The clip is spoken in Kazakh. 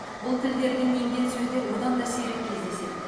бұл тілдерден енген сөздер одан да сирек кездеседі